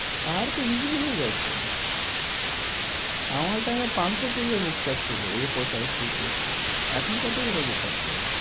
আর তো easy হয়ে গেছে। আমার time এ পাঁচশ page এর book টা ছিল A four size feet এর। এখন কত বড় book আছে?